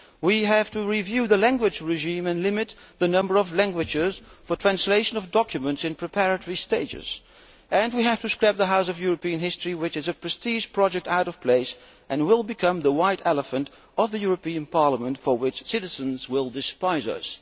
We have to review the language regime and limit the number of languages for translation of documents in preparatory stages and we have to scrap the House of European History, which is a prestige project out of place and will become the white elephant of the European Parliament, for which citizens will despise us.